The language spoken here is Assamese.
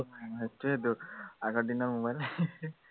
সেইটোৱেইতো আগৰ দিনৰ mobile